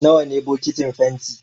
Nawa ne bokitin fenti?